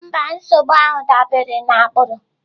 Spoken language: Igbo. Mba, nsogbu ahụ dabere na agbụrụ.